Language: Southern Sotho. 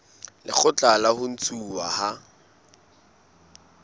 lekgotla la ho ntshuwa ha